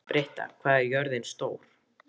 Britta, hvað er jörðin stór?